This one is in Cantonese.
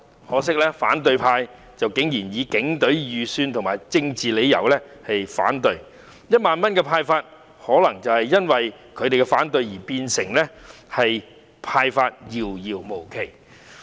可惜，反對派竟然以警隊預算和政治因素為理由提出反對，令1萬元的派發可能因他們的反對而變得遙遙無期。